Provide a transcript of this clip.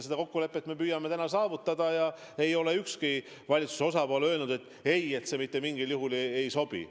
Seda kokkulepet me püüame saavutada ja ei ole ükski valitsuse osapool öelnud, et see mitte mingil juhul ei sobi.